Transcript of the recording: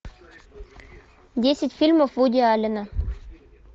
десять фильмов вуди аллена